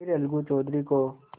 फिर अलगू चौधरी को